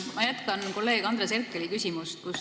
Ma jätkan kolleeg Andres Herkeli küsimust.